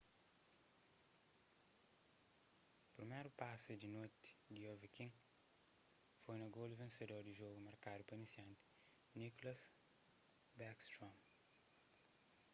priméru pasi di noti di ovechkin foi na golu vensedor di jogu markadu pa inisianti nicklas backstrom